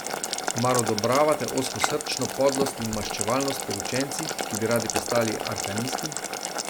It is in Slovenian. Mar odobravate ozkosrčno podlost in maščevalnost pri učencih, ki bi radi postali arkanisti?